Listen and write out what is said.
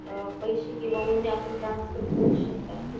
अ पैसे किंवा उणे आपण ट्रान्सफर करू शकतात कि --